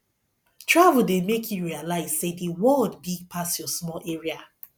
travel dey make you realize sey the world big pass your small area